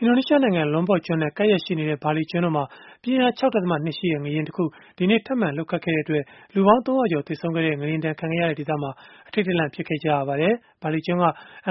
အင်ဒိုနီးရှားနိုင်ငံ Lombok ကျွန်းနဲ့ ကပ်လျက်ရှိနေတဲ့ ဘာလီကျွန်းမှာ ပြင်းအား ၆.၂ ရှိတဲ့ ငလျင်တခု ဒီကနေ့ ထပ်မံလှုပ်ခတ်ခဲ့တဲ့အတွက် လူပေါင်း ၃၀၀ ကျော် သေဆုံးခဲ့တဲ့ ငလျင်ဒဏ်ခံခဲ့ရတဲ့ ဒေသမှာ အထိတ်တလန့် ဖြစ်ခဲ့ကြရပါတယ်။ ဘာလီကျွန်းက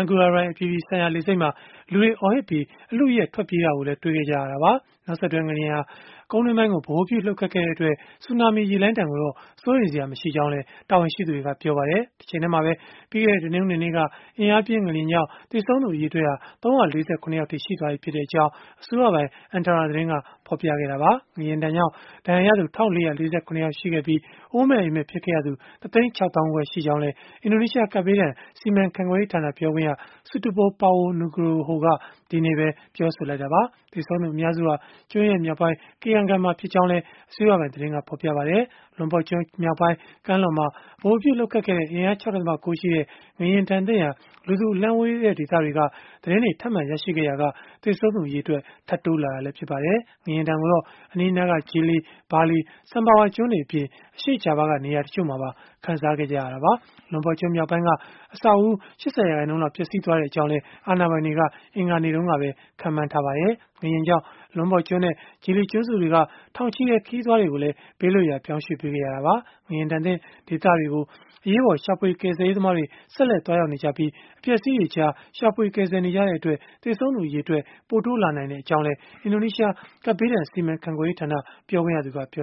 Ngurah Rai အပြည်ပြည်ဆိုင်ရာ လေဆိပ်မှာ လူတွေအော်ဟစ်ပြီး၊ အလုအယက် ထွက်ပြေးတာကိုလည်း တွေ့ခဲ့ကြရတာပါ။ နောက်ဆက်တွဲ ငလျင်ဟာ ကုန်းတွင်းပိုင်းကို ဗဟိုပြုလှုပ်ခတ်ခဲ့တဲ့အတွက် ဆူနာမီရေလှိုင်းဒဏ်ကိုတော့ စိုးရိမ်စရာ မရှိကြောင်းလည်း တာဝန်ရှိသူတွေက ပြောပါတယ်။ တချိန်တည်းှာပဲ ပြီးခဲ့တဲ့တနင်္ဂနွေနေ့က အင်အားပြင်း ငလျင်ကြောင့် သေဆုံးသူအရေအတွက်ဟာ ၃၄၇ ယောက်အထိ ရှိသွားပြီဖြစ်ကြောင်း အစိုးရပိုင် Antara သတင်းက ဖော်ပြခဲ့တာပါ။ ငလျင်ဒဏ်ကြောင့် ဒဏ်ရာရသူ ၁၄၄၇ ယောက်ရှိခဲ့ပြီး၊ အိုးမဲ့အိမ်မဲ့ ဖြစ်ခဲ့ရသူ ၁ သိန်း ၆ သောင်းခွဲ ရှိခဲ့ကြောင်းလည်း အင်ဒိုနီးရှား ကပ်ဘေးဒဏ် စီမံခန့်ခွဲရေးဌာန ပြောခွင့်ရSutopo Purwo Nugroho က ဒီကနေ့ပဲ ပြောဆိုလိုက်တာပါ။ သေဆုံးသူအများစုဟာ ကျွန်းရဲ့မြောက်ပိုင်း Kayangan မှာဖြစ်ကြောင်းလည်း အစိုးရပိုင်သတင်းက ဖော်ပြပါတယ်။ Lombok ကျွန်း မြောက်ပိုင်း ကမ်းလွန်မှာ ဗဟိုပြုလှုပ်ခတ်ခဲ့တဲ့ အင်အား ၆.၉ ရှိတဲ့ ငလျင်လှုပ်ဒဏ်သင့်ရာ လူသူအလှမ်းဝေးတဲ့ ဒေသတွေက သတင်းတွေ ထပ်မံရရှိခဲ့ရာက သေဆုံးသူအရေအတွက် ထပ်တိုးလာတာလည်း ဖြစ်ပါတယ်။ ငလျင်ဒဏ်ကိုတော့ အနီးအနားက Gili, Bali, Sumbawa ကျွန်းတွေအပြင်၊ အရှေ့ဂျာဗားက နေရာတချို့မှာပါ ခံစားခဲ့ကြရတာပါ။ Lombok ကျွန်းမြောက်ပိုင်းက အဆောက်အဦး ၈၀ ရာခိုင်နှုန်းလောက် ပျက်စီးခဲ့ကြောင်းလည်း အာဏာပိုင်တွေက အင်္ဂါနေ့တုန်းကပဲ ခန့်မှန်းထားကြပါတယ်။ ငလျင်ကြောင့် Lombok ကျွန်းနဲ့ Gili ကျွန်းစုတွေက ထောင်ချီတဲ့ ခရီးသွားတွေကိုလည်း ဘေးလွတ်ရာ ပြောင်းရွှေ့ပေးခဲ့ရတာပါ။ ငလျင်ဒဏ်သင့် ဒေသတွေကို အရေးပေါ် ရှာဖွေ ကယ်ဆယ်ရေးသမားတွေ ဆက်လက် သွားရောက်နေပြီး၊ အပျက်အစီးတွေကြားမှာ ရှာဖွေကယ်ဆယ်နေကြတဲ့အတွက် သေဆုံးသူ အရေအတွက် ပိုတိုးလာနိုင်ကြောင်းလည်း အင်ဒိုနီးရှား ကပ်ဘေးဒဏ် စီမံခန့်ခွဲရေးဌာန ပြောခွင့်ရက ပြေ